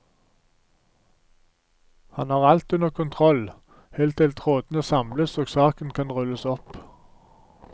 Han har alt under kontroll helt til trådene samles og saken kan rulles opp.